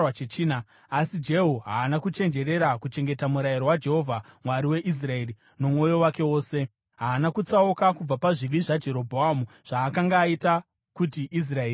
Asi Jehu haana kuchenjerera kuchengeta murayiro waJehovha, Mwari waIsraeri, nomwoyo wake wose. Haana kutsauka kubva pazvivi zvaJerobhoamu, zvaakanga aita kuti Israeri iite.